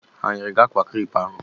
Ha o nyere gị akwa krep ahụ?